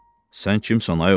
Sən kimsən, ay oğul?